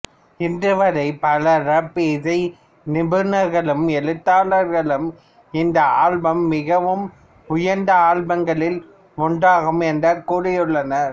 இன்று வரை பல ராப் இசை நிபுணர்களும் எழுத்தாளர்களும் இந்த ஆல்பம் மிகவும் உயர்ந்த ஆல்பம்களில் ஒன்றாகும் என்று கூறியுள்ளனர்